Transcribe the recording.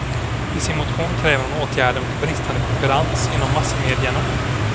I sin motion kräver hon åtgärder mot bristande konkurrens inom massmedierna.